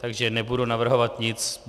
Takže nebudu navrhovat nic.